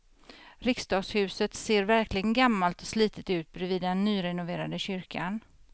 Riksdagshuset ser verkligen gammalt och slitet ut bredvid den nyrenoverade kyrkan.